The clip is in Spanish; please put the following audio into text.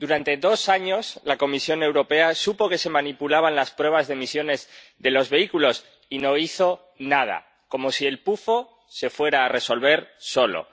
Durante dos años, la Comisión Europea supo que se manipulaban las pruebas de emisiones de los vehículos y no hizo nada, como si el se fuera a resolver solo.